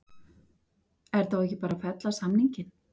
Er þá ekki bara verið að fella samninginn?